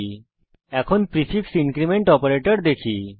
আমরা এখন prefix increment অপারেটরে আসি